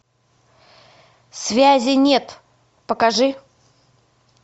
связи нет покажи